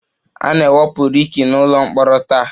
A na-ewepụ Ricky n'ụlọ mkpọrọ taa